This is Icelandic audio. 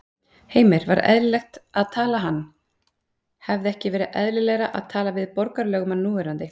Heimir: Var eðlilegt að tala hann, hefði ekki verið eðlilegra að tala við borgarlögmann núverandi?